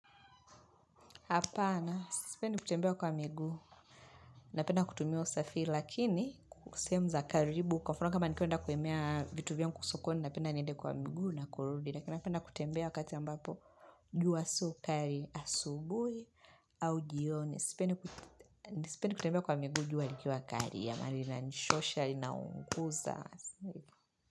Hapana, sipendi kutembea kwa miguu, napenda kutumia usafiri, lakini ku sehemu za karibu, kwa mfano kama nikienda kuemea vitu vyangu kwa sokoni, napenda niende kwa miguu na kurudi, lakina napenda kutembea wakati ambapo, jua so kari asubui au jioni, sipendi kutembea kwa miguu, jua likiwa kari, jamani linachosha, linaunguza.